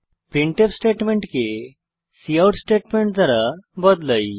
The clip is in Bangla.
প্রিন্টফ স্টেটমেন্ট কে কাউট স্টেটমেন্ট দ্বারা বদলাই